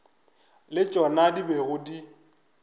le tšona di bego di